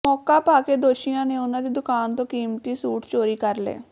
ਮੌਕਾ ਪਾਕੇ ਦੋਸ਼ੀਆਂ ਨੇ ਉਨ੍ਹਾਂ ਦੀ ਦੁਕਾਨ ਤੋਂ ਕੀਮਤੀ ਸੂਟ ਚੋਰੀ ਕਰ ਲਏ